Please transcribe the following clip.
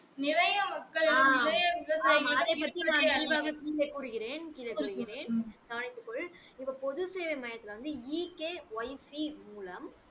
கூறுகிறேன் கூறுகிறேன் கவனித்து கொள் போது சேவை மையத்துல வந்து EKYC மூலம்